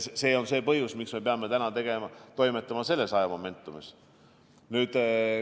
See on põhjus, miks me peame täna toimetama selles momentum'is.